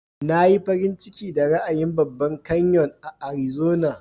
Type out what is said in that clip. Na yi farin ciki da ra'ayin babban kanyon a Arizona.